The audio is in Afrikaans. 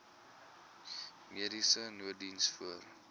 mediese nooddiens voor